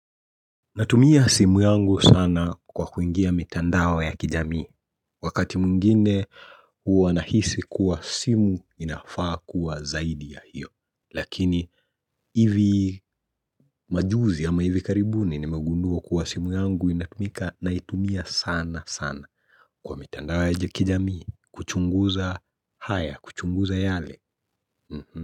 Natumia simu yangu sana kwa kuingia mitandao ya kijamii Wakati mwingine huwa nahisi kuwa simu inafaa kuwa zaidi ya hio lakini hivi majuzi ama hivi karibuni nimegundua kuwa simu yangu inatumika naitumia sana sana Kwa mitandao ya kijamii kuchunguza haya kuchunguza yale mhm.